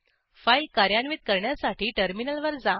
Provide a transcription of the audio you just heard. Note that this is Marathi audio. फाईल कार्यान्वित करण्यासाठी टर्मिनलवर जा